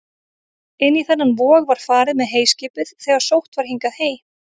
Inn í þennan vog var farið með heyskipið þegar sótt var hingað hey.